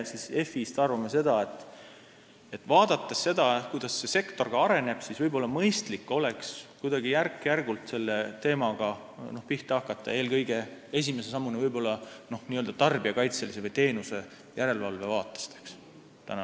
Meie FI-s arvame seda, nähes, kuidas see sektor areneb, et oleks mõistlik järk-järgult selle teemaga pihta hakata, eelkõige alustada võib-olla n-ö tarbijakaitselisest või teenuste järelevalve aspektist.